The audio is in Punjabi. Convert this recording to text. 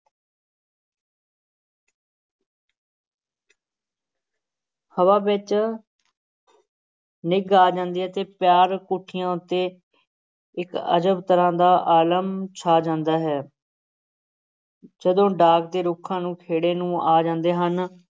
ਹਵਾ ਵਿਚ ਨਿੱਘ ਆ ਜਾਂਦੀ ਹੈ ਤੇ ਪਿਆਰ-ਕੁੱਠਿਆਂ ਉੱਤੇ ਇਕ ਅਜਬ ਤਰ੍ਹਾਂ ਦਾ ਆਲਮ ਛਾ ਜਾਂਦਾ ਹੈ ਜਦੋਂ ਢਾਕ ਦੇ ਰੁੱਖਾਂ ਨੂੰ ਖੇੜੇ ਨੂੰ ਆ ਜਾਂਦੇ ਹਨ।